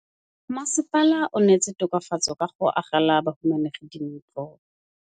Mmasepala o neetse tokafatsô ka go agela bahumanegi dintlo.